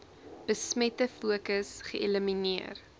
besmette fokus geelimineer